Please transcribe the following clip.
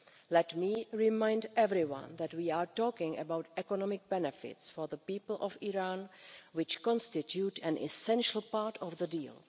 Let me remind everyone that we are talking about economic benefits for the people of Iran which constitute an essential part of the deal.